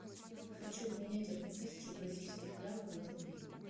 хочу обменять одну тысячу бразильских реалов на рубли